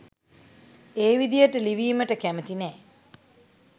ඒ විදියට ලිවීමට කැමති නෑ.